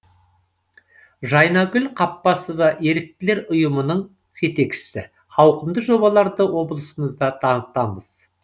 жайнагүл қаппасова еріктілер ұйымының жетекшісі ауқымды жобаларды облысымызда дамытамыз